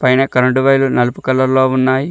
పైన కరెంటు వైర్లు నలుపు కలర్ లో ఉన్నాయి.